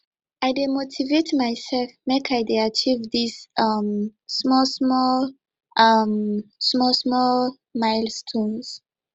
i dey motivate mysef make i dey achieve dese um smallsmall um smallsmall milestones